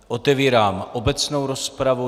Otevírám obecnou rozpravu.